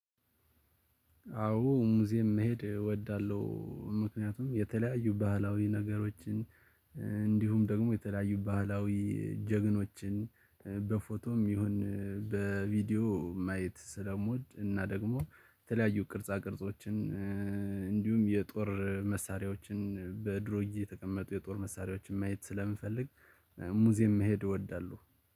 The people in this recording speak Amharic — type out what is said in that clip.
አዎ ሙዚየም መሄድ እወዳለሁ። ምክንያቱም የተለያዩ ባህላዊ ነገሮችን እንዲሁም ደግሞ የተለያዩ ባህላዊ ጀግኖችን። በፎቶም ይሁን በቪዲዮ ማየት ስለምወድ እና ደግሞ የተለያዩ ቅርጻ ቅርጾችን። እንዲሁም የጦር መሳሪያዎችን በድሮ ጊዜ የተቀመጡ የጦር መሳሪያዎችን ማየት ስለምፈልግ ሙዚየም መሄድ እወዳለሁ